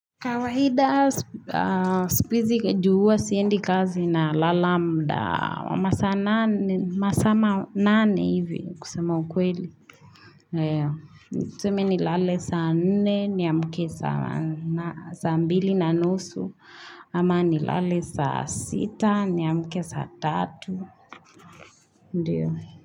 Kawaida, sikuhiizi ju huwa, siendi kazi nalala mda, wa masaa manane hivi kusema ukweli. Tuseme nilale saa nne, niamke saa mbili na nusu, ama nilale saa sita, niamke saa tatu.